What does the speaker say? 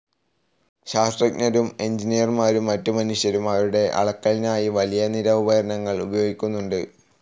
ശാസ്ത്രജ്ഞരും എൻജിനീയർമാരും മറ്റ് മനുഷ്യരും അവരുടെ അളക്കലിനായി വലിയ നിര ഉപകരണങ്ങൾ ഉപയോഗിക്കുന്നുണ്ട്.